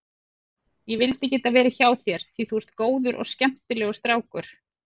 Ég vildi geta verið hjá þér því þú ert góður og skemmtilegur strákur.